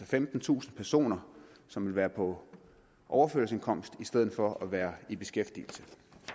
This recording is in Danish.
femtentusind personer som vil være på overførselsindkomst i stedet for at være i beskæftigelse